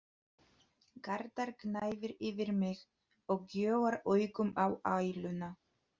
Garðar gnæfir yfir mig og gjóar augum á æluna.